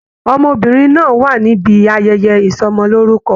Ọmọbìnrin náà wà níbí ayẹyẹ ìsọmọlorúkọ.